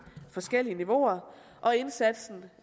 forskellige niveauer og indsatsen